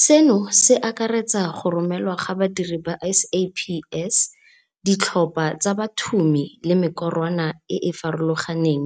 Seno se akaretsa go romelwa ga badiri ba SAPS, ditlhopha tsa bathumi le mekorwana e e farologaneng,